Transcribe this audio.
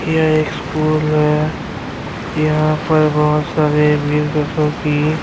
ییہ school ہے، یھاں پی بہت سارے ویر کی --